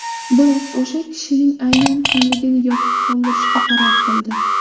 Biroq o‘sha kishining aynan kimligini yopiq qoldirishga qaror qildi.